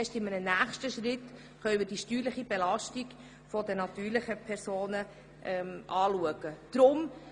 Erst in einem nächsten Schritt kann die Steuerbelastung der natürlichen Personen betrachtet werden.